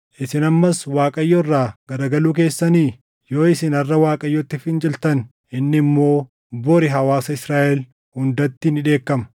Isin ammas Waaqayyo irraa garagaluu keessanii? “ ‘Yoo isin harʼa Waaqayyotti finciltan inni immoo bori hawaasa Israaʼel hundatti ni dheekkama.